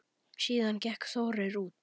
Síðan gekk Þórir út.